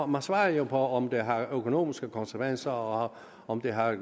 man svarer jo på om et lovforslag har økonomiske konsekvenser og om det har